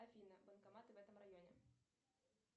афина банкоматы в этом районе